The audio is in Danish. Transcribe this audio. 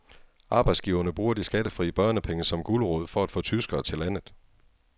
Arbejdsgiverne bruger de skattefri børnepenge som gulerod for at få tyskere til landet.